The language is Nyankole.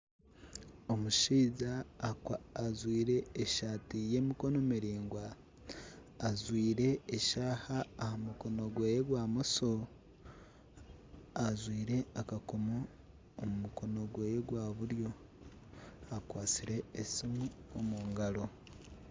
Omushaija ajwaire esaati eyemikono miraingwa, ajwaire eshaaha aha mukono gweye gwa mosho, ajwaire akakomo omu mukono gweye gwa buryo akwatsire esumu omu ngaro.